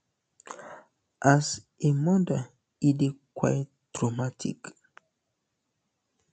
as a um mother e dey quite traumatic